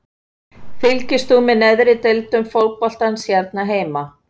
Fylgist þú með neðri deildum fótboltans hér heima?